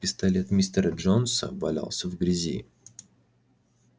пистолет мистера джонса валялся в грязи